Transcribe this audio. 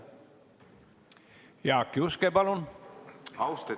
Jaak Juske, palun!